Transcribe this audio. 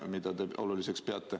Ka seda te peate ju oluliseks.